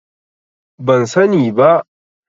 Ban sani ba.